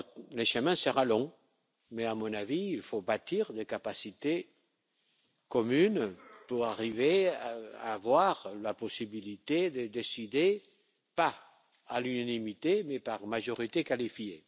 Le chemin sera certainement long, mais à mon avis il faut bâtir des capacités communes pour arriver à avoir la possibilité de décider, pas à l'unanimité, mais à la majorité qualifiée.